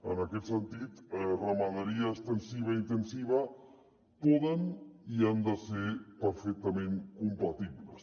en aquest sentit ramaderia extensiva i intensiva poden i han de ser perfectament compatibles